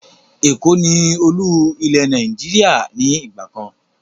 Èkó ni Olú-ilẹ̀ Nàìjíríà ni ìgbàkan